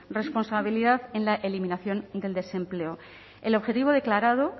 responsabilidad en la eliminación del desempleo el objetivo declarado